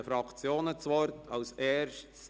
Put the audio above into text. Die Fraktionen haben das Wort.